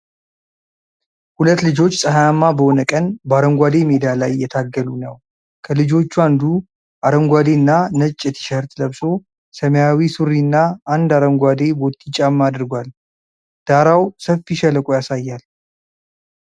ሁለት ልጆች ፀሐያማ በሆነ ቀን በአረንጓዴ ሜዳ ላይ እየታገሉ ነው። ከልጆቹ አንዱ አረንጓዴና ነጭ ቲሸርት ለብሶ ሰማያዊ ሱሪና አንድ አረንጓዴ ቦቲ ጫማ አድርጓል። ዳራው ሰፊ ሸለቆ ያሳያል።